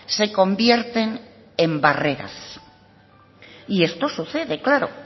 se convierten en barreras y esto sucede claro